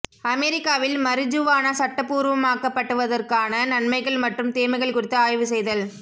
அமெரிக்காவில் மரிஜுவானா சட்டப்பூர்வமாக்கப்படுவதற்கான நன்மைகள் மற்றும் தீமைகள் குறித்து ஆய்வு செய்தல்